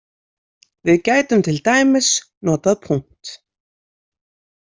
Við gætum til dæmis notað „.“